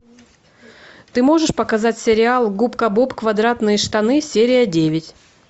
ты можешь показать сериал губка боб квадратные штаны серия девять